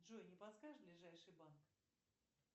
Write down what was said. джой не подскажешь ближайший банк